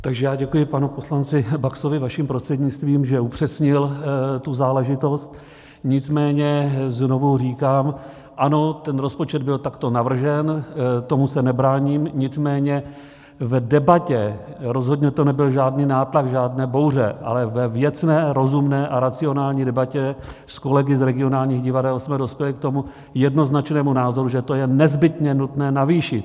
Takže já děkuji panu poslanci Baxovi vaším prostřednictvím, že upřesnil tu záležitost, nicméně znovu říkám ano, ten rozpočet byl takto navržen, tomu se nebráním, nicméně v debatě - rozhodně to nebyl žádný nátlak, žádné bouře, ale ve věcné, rozumné a racionální debatě s kolegy z regionálních divadel jsme dospěli k tomu jednoznačnému názoru, že to je nezbytně nutné navýšit.